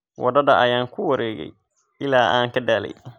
Waddada ayaan ku wareegay ilaa aan ka daalay